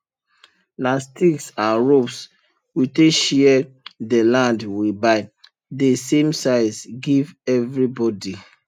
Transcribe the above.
nah sticks and ropes we take share dey land we buy dey same size give everi bodi